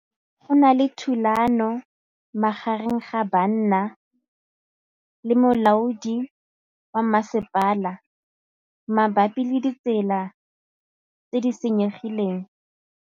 Go na le thulanô magareng ga banna le molaodi wa masepala mabapi le ditsela tse di senyegileng.